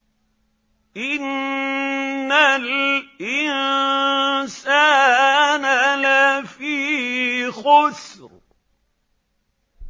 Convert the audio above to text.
إِنَّ الْإِنسَانَ لَفِي خُسْرٍ